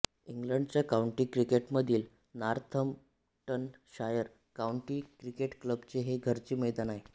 इंग्लंडच्या काउंटी क्रिकेटमधील Northamptonshire county cricket क्लबचे हे घरचे मैदान आहे